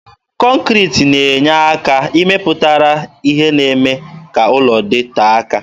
Kọnkriti na-enye ike pụtara ihe nakwa ime ka ụlọ dịtee aka.